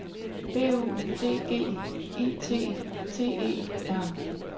B U D G E T T E R